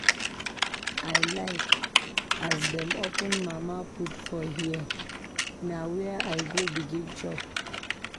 I like as dem open mama-put for hear, na where I go begin chop.